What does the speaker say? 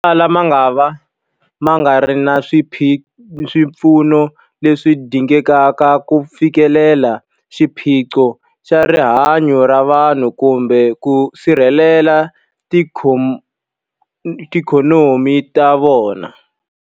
Motala mangava ma nga ri na swipfuno leswi dingekaka ku fikelela xiphiqo xa rihanyu ra vanhu kumbe ku sirhelela tiikhonomi ta vona.